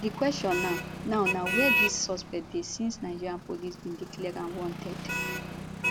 di question now now na wia dis suspect dey since nigeria police bin declare am wanted